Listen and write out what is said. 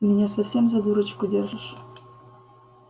ты меня совсем за дурочку держишь